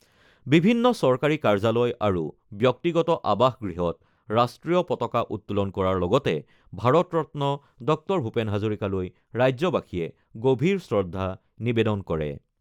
বিভিন্ন চৰকাৰী কাৰ্যালয় আৰু ব্যক্তিগত আৱাসগৃহত ৰাষ্ট্ৰীয় পতাকা উত্তোলন কৰাৰ লগতে ভাৰত ৰত্ন ডঃ ভূপেন হাজৰিকালৈ ৰাজ্যবাসীয়ে গভীৰ শ্ৰদ্ধা নিবেদন কৰে।